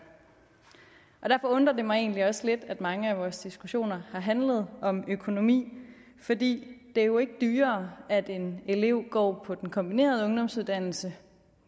derfor undrer det mig egentlig også lidt at mange af vores diskussioner har handlet om økonomi for det er jo ikke dyrere at en elev går på den kombinerede ungdomsuddannelse